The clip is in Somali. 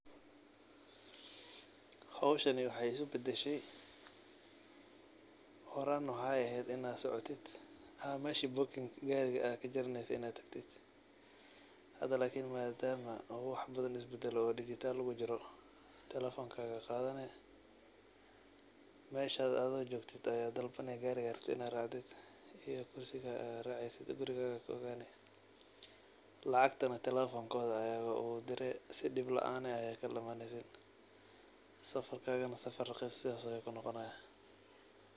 Howshani waxay iskubadashey horan wexey in ad socotid oo ad tagtid meesha buginka gariga hada madama wax badan uu isbadale oo dijital ujiro telefonka ayad qadani meesha adigo jogtid ayad dalbane gariga rabtid wixi oo kusugayo aya guriga kaogane lacgtana telefonkoda aya ugudiri sii dil laan ah aya kukaladamaneysin safarkaga raqis sidas ayu kunoqonaya.